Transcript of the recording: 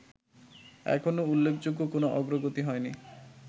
এখনো উল্লেখযোগ্য কোনো অগ্রগতি হয়নি